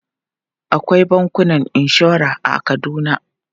Akwai bankunan inshora a Kaduna.